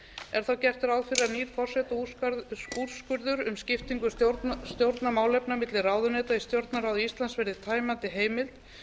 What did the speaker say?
er þá gert ráð fyrir að nýr forsetaúrskurður um skiptingu stjórnarmálefna milli ráðuneyta í stjórnarráði íslands verði tæmandi heimild